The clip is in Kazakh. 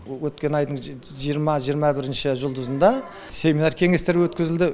өткен айдың жиырма жиырма бірінші жұлдызында семинар кеңестер өткізілді